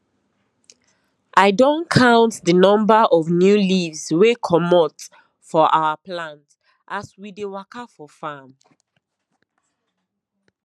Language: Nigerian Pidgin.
i don count the number of new leaves wey comot for our plant as we dey waka for farm